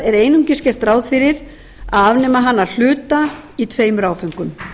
er einungis gert ráð fyrir að afnema hana að hluta í tveimur áföngum